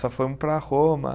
Só fomos para Roma.